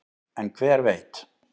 en hver veit